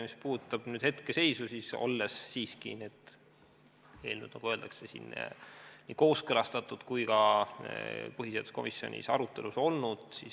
Mis puudutab hetkeseisu, siis need eelnõud, nagu öeldakse, on nii kooskõlastatud kui ka põhiseaduskomisjonis arutelul olnud.